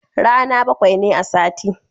Rana bakwai ne a sati